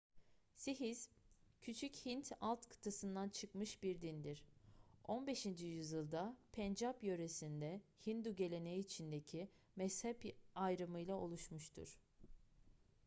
sihizm küçük hint alt kıtasından çıkmış bir dindir 15. yüzyılda pencap yöresinde hindu geleneği içindeki mezhep ayrımıyla oluşmuştur